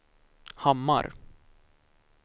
Hammar